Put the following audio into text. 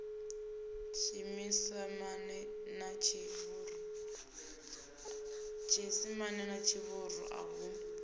tshiisimane na tshivhuru a hu